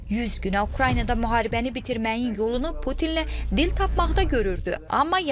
Yüz günə Ukraynada müharibəni bitirməyin yolunu Putinlə dil tapmaqda görürdü, amma yanıldı.